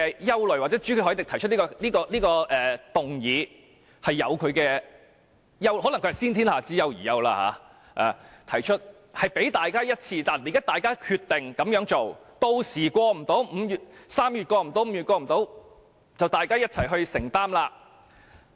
因此，朱凱廸議員動議的議案可能是"先天下之憂而憂"，提出來讓大家決定這樣做，屆時3月、5月無法通過，就由大家一起承擔。